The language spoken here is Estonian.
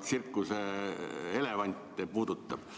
tsirkuseelevante puudutab.